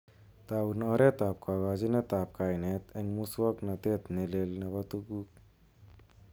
Taun oretab kokochinetab kainet en muswoknotet ne leel nebo tuguk.